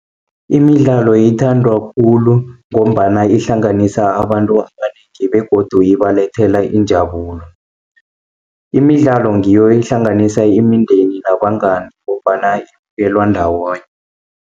Imidlalo ithandwa khulu, ngombana ihlanganisa abantu abanengi begodu ibalethela injabulo. Imidlalo ngiyo ehlanganisa imindeni nabangani, ngombana ibukelwa ndawonye.